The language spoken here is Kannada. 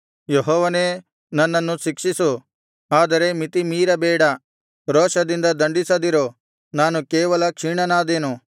ಯೆಹೋವನೇ ನನ್ನನ್ನು ಶಿಕ್ಷಿಸು ಆದರೆ ಮಿತಿಮೀರ ಬೇಡ ರೋಷದಿಂದ ದಂಡಿಸದಿರು ನಾನು ಕೇವಲ ಕ್ಷೀಣನಾದೇನು